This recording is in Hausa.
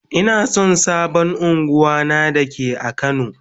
Ina son sabon ungwan na da ke a kano.